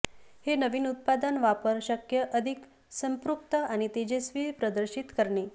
हे नवीन उत्पादन वापर शक्य अधिक संपृक्त आणि तेजस्वी प्रदर्शित करणे